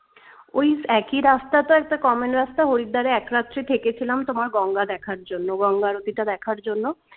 ওই একি রাস্তাটার একটা কমন রাস্তা Haridwar এ এক রাত্রি থেকেছিলাম গঙ্গা দেখার জন্য গঙ্গা নদীটা দেখার জন্য